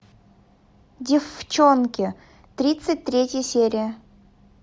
деффчонки тридцать третья серия